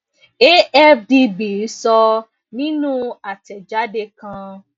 afdb sọ nínú àtẹjáde kan